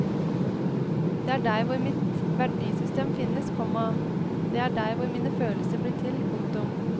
Det er der hvor mitt verdisystem finnes, komma det er der hvor mine følelser blir til. punktum